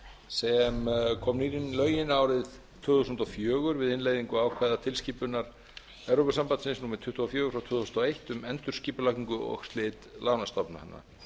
sem kom ný inn í lögin árið tvö þúsund og fjögur við innleiðingu ákvæða tilskipunar evrópusambandsins númer tuttugu og fjögur tvö þúsund og eitt um endurskipulagningu og slit lánastofnana